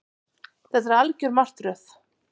Þetta er algjör martröð